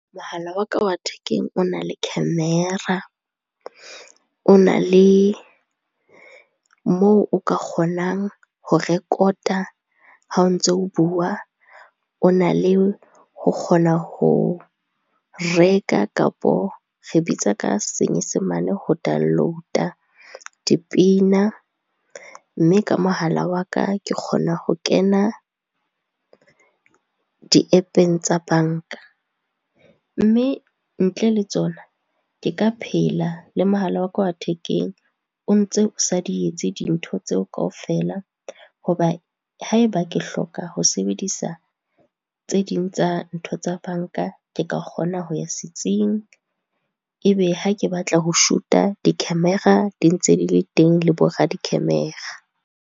Mohala wa ka wa thekeng o na le camera, o na le moo o ka kgonang ho record-a ha o ntso o bua, o na le ho kgona ho reka kapo re bitsa ka senyesemane ho download-a dipina. Mme ka mohala wa ka ke kgona ho kena di-App-eng tsa banka. Mme ntle le tsona ke ka phela le mohala wa ka wa thekeng o ntse o sa di etse dintho tseo kaofela, hoba haeba ke hloka ho sebedisa tse ding tsa ntho tsa banka, ke ka kgona ho ya setsing, e be ha ke batla ho shuta, di-camera di ntse di le teng, le bo radi-camera.